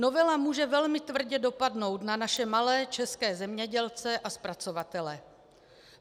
Novela může velmi tvrdě dopadnou na naše malé české zemědělce a zpracovatele.